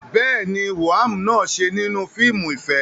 Bẹ́ẹ̀ ni, woam náà ṣe nínú fíìmù ìfẹ́.